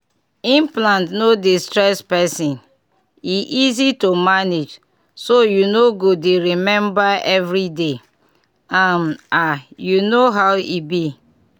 implant no dey stress person — e easy to manage so you no go dey remember every day um ah you know how e be.